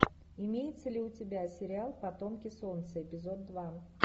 имеется ли у тебя сериал потомки солнца эпизод два